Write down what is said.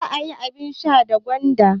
Za a yi abin sha da gwanda.